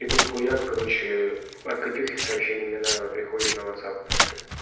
и тут хуяк короче от катюхи сообщение минаевой приходит на ватсап